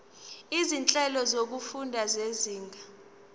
izinhlelo zokufunda zezinga